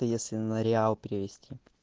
то если на реал перевести